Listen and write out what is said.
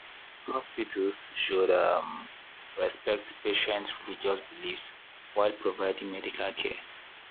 hospitals should um respect patients' religious beliefs while providing medical care.